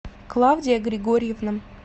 клавдия григорьевна